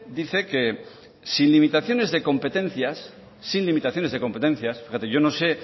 dice que sin limitaciones de competencias sin limitaciones de competencias fíjate yo no sé